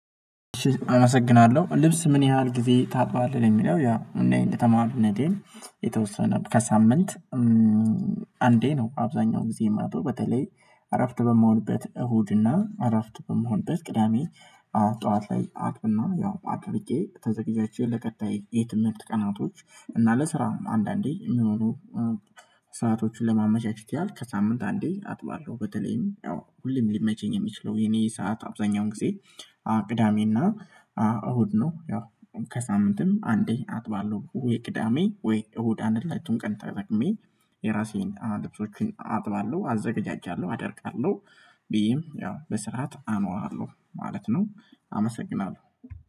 አመሰግናለሁ ልብስ ምን? ያህል ጊዜ ታጥባለህ የሚለው ያ እንደተማርነቴን የተወሰነ ከሳምንት አንዴ ነው። አብዛኛው ጊዜ የማልጥው በተለይ አረፍት በመሆንበት እሁድና አረፍት በመሆን ቅዳሜ ጠዋት ላይ አጥብና ያው አድርቄ ተዘግጃጅቼ ለቀጣይ የትምህርት ቀናቶች እና ለስራውም አንዳንዴ የሚኖሩ ሰአቶችን ለማመቻቸት ያህል ከሳምንት አንዴ አጥባለሁ። በተለይም ያው ሁሌም ሊመቸኝ የሚችለው የኔ ሰዓት አብዛኛውን ጊዜ ቅዳሜና እሁድ ነው። ያው ከሳምንትም አንዴ አጥባለሁ ወይ ቅዳሜ ወይ እሁድ አንድ ሁለቱን ቀን ተጠቅሜ የራሴን ልብሶቼን አጥባለሁ አዘጋጃጃለሁ አደርቃለሁ ብዬም ያው በስርዓት አኖራለሁ ማለት ነው። አመሰግናለሁ